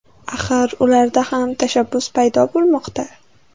Axir ularda ham tashabbus paydo bo‘lmoqda.